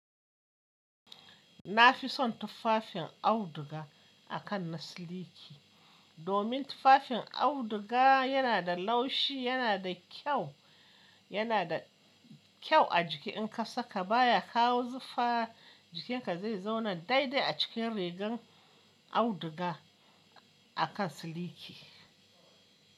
Na fi son tufafin auduga akan na siliki. Domin tufafin auduga yana da laushi, yana da kyau, yana da kyau a jiki in ka saka baya kawo zufa, jikinka zai zauna daidai a cikin rigar auduga akan siliki.